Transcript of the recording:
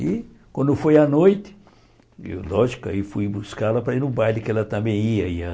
E quando foi à noite, lógico, aí fui buscá-la para ir ao baile, que ela também ia ia.